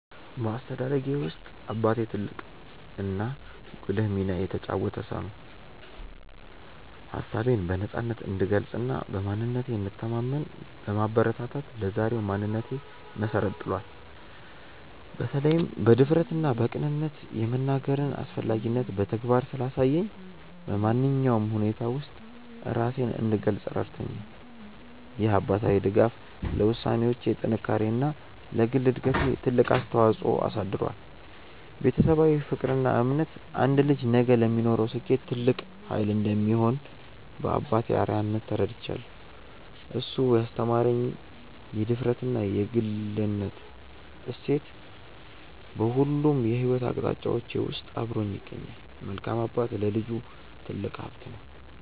በአስተዳደጌ ውስጥ አባቴ ትልቅና ጉልህ ሚና የተጫወተ ሰው ነው። ሀሳቤን በነፃነት እንድገልጽና በማንነቴ እንድተማመን በማበረታታት ለዛሬው ማንነቴ መሰረት ጥሏል። በተለይም በድፍረትና በቅንነት የመናገርን አስፈላጊነት በተግባር ስላሳየኝ፣ በማንኛውም ሁኔታ ውስጥ ራሴን እንድገልጽ ረድቶኛል። ይህ አባታዊ ድጋፍ ለውሳኔዎቼ ጥንካሬና ለግል እድገቴ ትልቅ ተጽዕኖ አሳድሯል። ቤተሰባዊ ፍቅርና እምነት አንድ ልጅ ነገ ለሚኖረው ስኬት ትልቅ ኃይል እንደሚሆን በአባቴ አርአያነት ተረድቻለሁ። እሱ ያስተማረኝ የድፍረትና የግልነት እሴት በሁሉም የሕይወት አቅጣጫዎቼ ውስጥ አብሮኝ ይገኛል። መልካም አባት ለልጁ ትልቅ ሀብት ነው።